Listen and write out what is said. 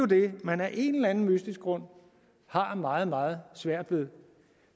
det man af en eller anden mystisk grund har meget meget svært ved